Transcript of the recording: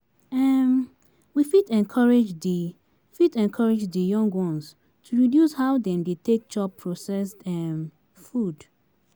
um We fit encourage di fit encourage di young ones to reduce how dem take dey chop processed um food